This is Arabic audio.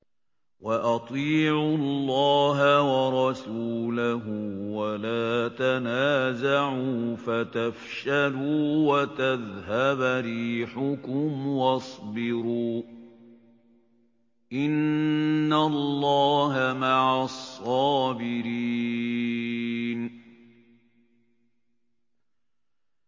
وَأَطِيعُوا اللَّهَ وَرَسُولَهُ وَلَا تَنَازَعُوا فَتَفْشَلُوا وَتَذْهَبَ رِيحُكُمْ ۖ وَاصْبِرُوا ۚ إِنَّ اللَّهَ مَعَ الصَّابِرِينَ